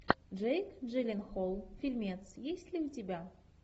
джейк джилленхол фильмец есть ли у тебя